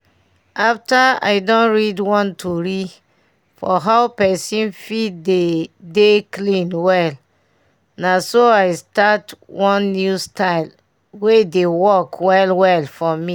after i don read one tori for how pesin fit dey dey clean well naso i start one new style wey dey work well well for me